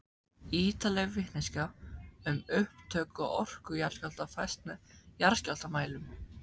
Ýtarleg vitneskja um upptök og orku jarðskjálfta fæst með jarðskjálftamælum.